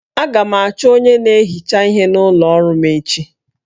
Aga m achọ onye na-ehicha ihe n'ụlọ ọrụ m echi